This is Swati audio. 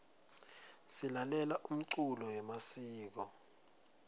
silalela umculo yemasiko